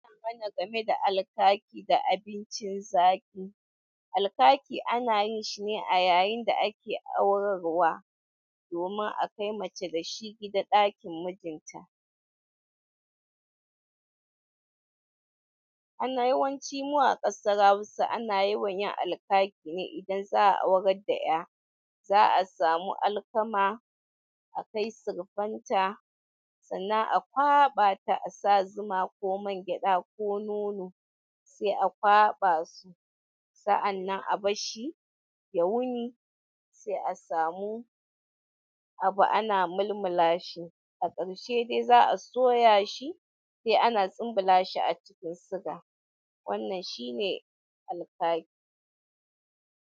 Ai mana game da alkaki da abincin zaki. Alkaki ana yin shi ne a yayin da ake aurarwa, domin a kai mace dashi gida ɗakin mijinta. Ana yawanci mu a ƙasar Hausa ana yawan yin alkaki ne in za'a aurar da 'ya. Za'a samu alkama, a kai sirfanta sannan a kwaɓa ta, a sa zuma ko mangyaɗa ko nono sai a kwaɓa su. Sa'annan a barshi ya wuni sai a samu abu ana mulmulashi, a ƙarshe dai za a soya shi sai ana tsambulashi a cikin siga. Wannan shine alkaki.